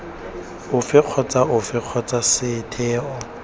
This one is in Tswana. ofe kgotsa ofe kgotsa setheo